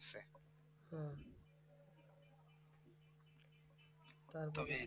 হম তারপরে